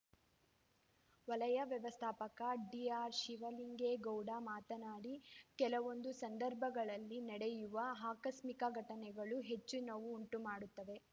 ವಲಯ ವ್ಯವಸ್ಥಾಪಕ ಡಿಆರ್‌ಶಿವಲಿಂಗೇಗೌಡ ಮಾತನಾಡಿ ಕೆಲವೊಂದು ಸಂದರ್ಭಗಳಲ್ಲಿ ನಡೆಯುವ ಆಕಸ್ಮಿಕ ಘಟನೆಗಳು ಹೆಚ್ಚು ನೋವು ಉಂಟು ಮಾಡುತ್ತವೆ